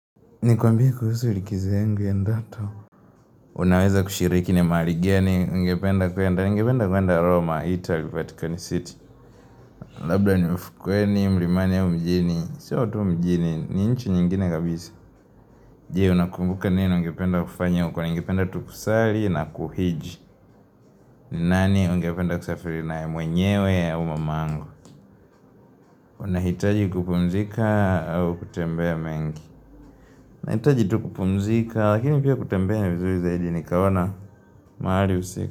Nikwambie kuhusu likizo yangu ya ndoto. Unaweza kushiriki ni mahali gani ungependa kwenda, ningependa kwenda Roma, Italy, Vatican City. Labda ni ufukweni, mlimani au mjini. Sio tu mjini, ni nchi nyingine kabisa. Je? Unakumbuka nini ungependa kufanya, ungependa tu kusali na kuhiji. Ni nani ungependa kusafiri nae mwenyewe au mama angu. Unahitaji kupumzika au kutembea mengi. Unahitaji tu kupumzika, lakini pia kutembea ni vizuri zaidi nikaona mahali husika.